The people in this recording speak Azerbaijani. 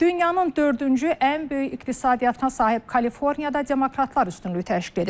Dünyanın dördüncü ən böyük iqtisadiyyatına sahib Kaliforniyada demokratlar üstünlük təşkil edir.